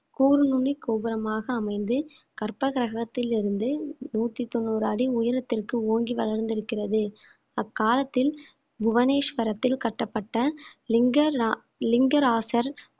கூர் நுனி கோபுரமாக அமைந்து கர்ப்பகிரகத்தில் இருந்து நூத்தி தொண்ணூறு அடி உயரத்திற்கு ஓங்கி வளர்ந்திருக்கிறது அக்காலத்தில் புவனேஸ்வரத்தில் கட்டப்பட்ட லிங்க லா~ லிங்க ராசர்